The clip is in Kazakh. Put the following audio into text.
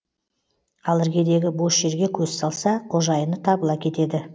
ал іргедегі бос жерге көз салса қожайыны табыла кетеді